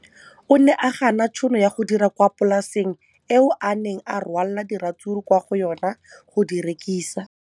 O ne a gana tšhono ya go dira kwa polaseng eo a neng rwala diratsuru kwa go yona go di rekisa.